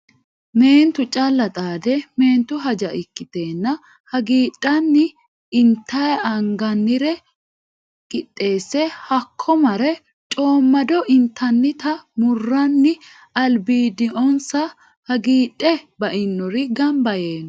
Meentu callu xaadde meentu haja ikkitenna hagiidhanni intayi anganire qixxeesse hakko marre coomado intannitta muranni albiidonsa hagiidhe bainori gamba yee no.